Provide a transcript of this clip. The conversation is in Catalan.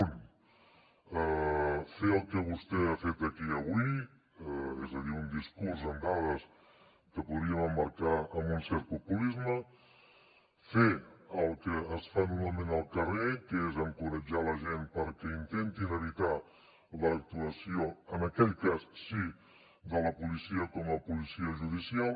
un fer el que vostè ha fet aquí avui és a dir un discurs amb dades que podríem emmarcar en un cert populisme fer el que es fa normalment al carrer que és encoratjar la gent perquè intentin evitar l’actuació en aquell cas sí de la policia com a policia judicial